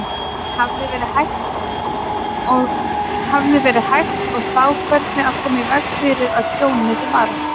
Hefði verið hægt og þá hvernig að koma í veg fyrir að tjónið varð?